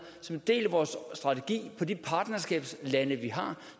som en del af vores strategi for de partnerskabslande vi har